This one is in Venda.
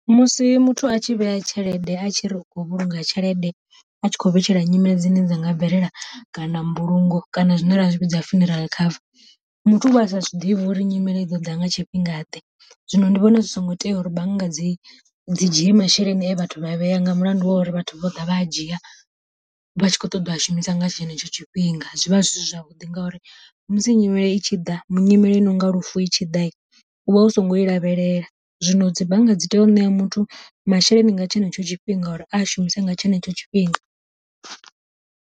Musi muthu a tshi vhea tshelede a tshi ri u kho vhulunga tshelede a tshi khou vhetshela nyimele dzine dza nga bvelela kana mbulungo kana zwine ra zwi vhidza funeral cover, muthu uvha a sa zwiḓivhi uri nyimele i ḓo ḓa nga tshifhinga ḓe. Zwino ndi vhona zwi songo tea uri bannga dzi dzi dzhie masheleni e vhathu vha vhea, nga mulandu wa uri vhathu vha ḓa vha a dzhia vha tshi kho ṱoḓa a shumisa nga tshenetsho tshifhinga, zwi vha zwi si zwavhuḓi ngauri musi nyimele i tshi ḓa nyimele inonga lufu i tshi ḓa u vha hu songo i lavhelela, zwino dzi bannga dzi tea u ṋea muthu masheleni nga tshenetsho tshifhinga uri a shumise nga tshenetsho tshifhinga.